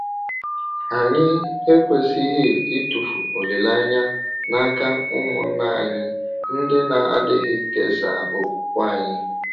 Anyị ekwesịghị ịtụfu olileanya n’aka ụmụnna anyị ndị na-adịghị kesaa okwùkwè anyị.